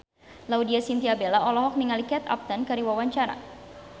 Laudya Chintya Bella olohok ningali Kate Upton keur diwawancara